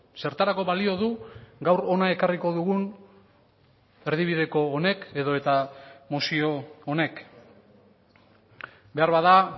zertarako balio du gaur hona ekarriko dugun erdibideko honek edota mozio honek beharbada